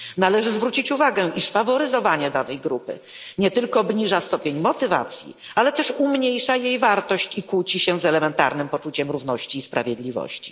Należy zwrócić uwagę, iż faworyzowanie danej grupy nie tylko obniża stopień motywacji, ale też umniejsza jej wartość i kłóci się z elementarnym poczuciem równości i sprawiedliwości.